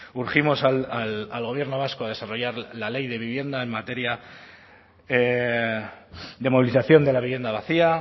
urgimos al gobierno vasco a desarrollar la ley de vivienda en materia de movilización de la vivienda vacía